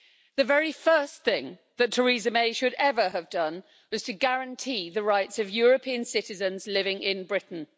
The very first thing that Theresa May should ever have done was to guarantee the rights of European citizens living in Britain.